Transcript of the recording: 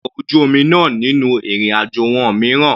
Tèlé ọkọ̀ ojú omi náà nínú ìrìn àjò wọn mìíràn.